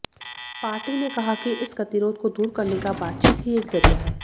party ने कहा कि इस गतिरोध को दूर करने का बातचीत ही एक जरिया है